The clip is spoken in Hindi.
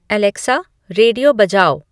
एलेक्सा रेडियो बजाओ